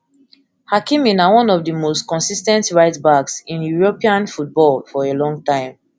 hakimi na hakimi na one of di most consis ten t rightbacks in european football for a long time